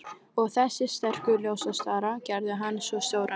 Og þessir sterku ljóskastarar gerðu hann svo stóran.